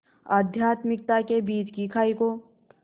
आध्यात्मिकता के बीच की खाई को